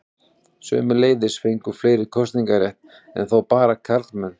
Sömuleiðis fengu fleiri kosningarétt, enn þó bara karlmenn.